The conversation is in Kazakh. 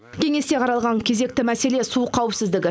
кеңесте қаралған кезекті мәселе су қауіпсіздігі